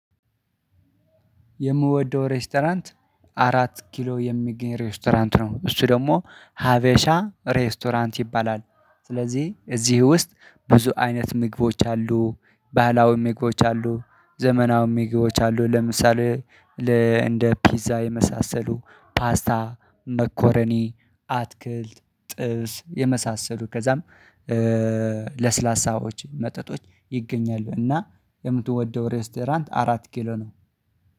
የምወደው ሬስቶራንት አራት ኪሎ የሚገኝ ሬስቶራንት ነው እሱ ደግሞ ሀበሻ ሬስቶራንት ይባላል። ስለዚህ እዚህ ውስጥ ብዙ አይነት ምግቦች አሉ ባህላዊ ምግቦች አሉ ዘመናውም ምግቦች አሉ ለምሳሌ ለ እንደ ፒዛ የመሳሰሉ ፓስታ መኮረኒ አትክልት ጥብስ የመሳሰሉ ከዛም ለስላሳዎች መጠጦች ይገኛሉ። እና የምትወደው ሬስቶራንት አራት ኪሎ ነው።